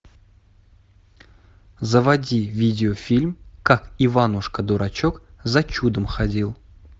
заводи видеофильм как иванушка дурачок за чудом ходил